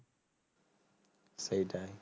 সেইটাই